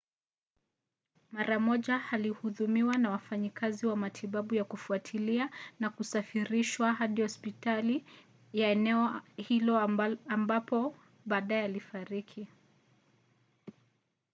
mara moja alihudumiwa na wafanyikazi wa matibabu ya kufuatilia na kusafirishwa hadi hospitali ya eneo hilo ambapo baadaye alifariki